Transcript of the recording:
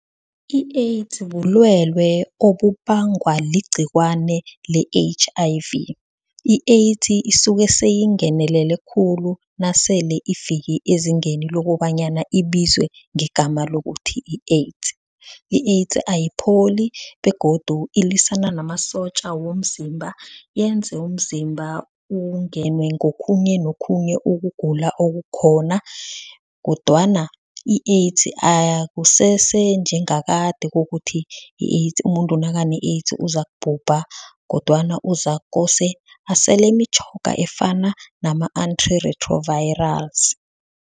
I-AIDS bulwelwe obubangwa ligcikwane le H_I_V. I-AIDS isuke seyingenelele khulu nasele ifike ezingeni lokobanyana ibizwe ngegama lokuthi yi-AIDS. I-AIDS ayipholi begodu ilwisana namasotja womzimba, yenze umzimba ungenwe ngokhunye nokhunye ukugula okukhona, kodwana i-AIDS akusese njengakade kokuthi umuntu nakane-AIDS uzakubhubha kodwana uzakose asele imitjhoga efana nama-antiretrovirals.